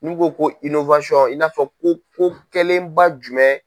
N'u ko ko i n'a fɔ ko ko kɛlenba jumɛn.